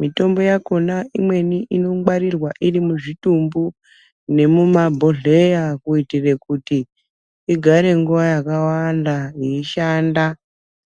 mitombo yakona imweni ino ngwarirwa iri mu zvitumbu nemu mabhohleya kuitire kuti igare nguva yaka wanda yei shanda.